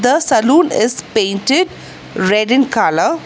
The salon is painted red in colour.